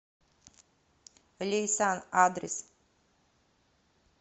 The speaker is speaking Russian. лейсан адрес